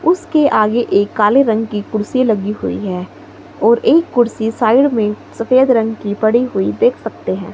उसके आगे एक काले रंग की कुर्सी लगी हुई है और एक कुर्सी साइड में सफेद रंग की पड़ी हुई देख सकते हैं।